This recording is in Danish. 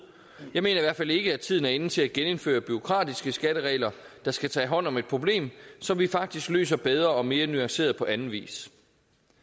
jeg mener i hvert fald ikke at tiden er inde til at genindføre bureaukratiske skatteregler der skal tage hånd om et problem som vi faktisk løser bedre og mere nuanceret på anden vis